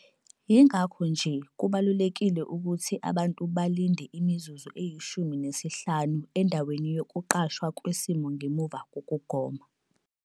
Yingakho nje kubalulekile ukuthi abantu balinde imizuzu eyi-15 endaweni yokuqashwa kwesimo ngemuva kokugoma.